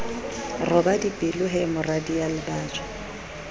roba dipelo he moradia lebajwa